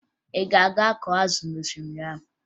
Ị ga-aga kọọ azụ n'osimiri ahụ?